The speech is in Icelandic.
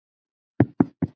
Mímir Másson.